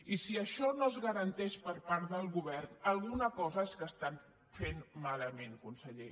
i si això no es garanteix per part del govern alguna cosa és que estan fent malament conseller